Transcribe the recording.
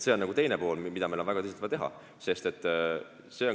See on nagu teine pool, mida meil on vaja väga tõsiselt teha.